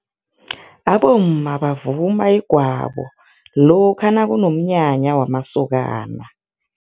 Abomma bavuma igwabo lokha nakunomnyanya wamasokana.